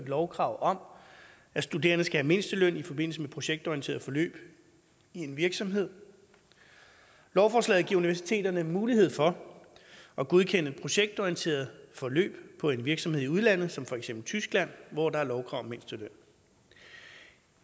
lovkrav om at studerende skal have mindsteløn i forbindelse med projektorienterede forløb i en virksomhed lovforslaget giver universiteterne mulighed for at godkende projektorienterede forløb på en virksomhed i udlandet som for eksempel tyskland hvor der er lovkrav om mindsteløn